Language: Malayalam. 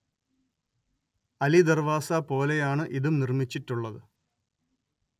അലിദർവാസ പോലെയാണ് ഇതും നിർമിച്ചിട്ടുള്ളത്